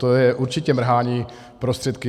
To je určitě mrhání prostředky.